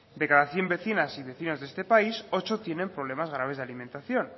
de cada cien vecinas y vecinos de este país ocho tienen problemas graves de alimentación